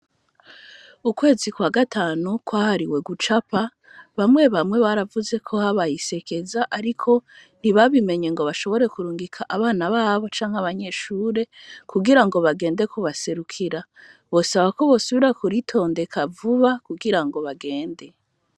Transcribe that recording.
Ukwezi kwa gatanu kwahariwe gucapa bamwe bamwe baravuze ko habayisekeza, ariko ntibabimenye ngo bashobore kurungika abana babo canke abanyeshure kugira ngo bagende kubaserukira, bosaba ko bosubira kuritondeka vuba kugira ngo bagende.